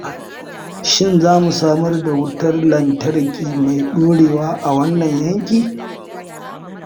Shin za a samar da wutar lantarki mai ɗorewa a wannan yanki?